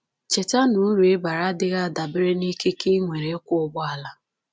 Cheta na uru ị bara adịghị adabere n’ikike i nwere ịkwọ ụgbọala